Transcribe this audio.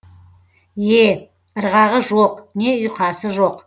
е ырғағы жоқ не ұйқасы жоқ